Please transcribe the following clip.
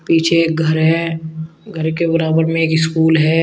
पीछे एक घर है घर के बराबर में एक स्कूल है।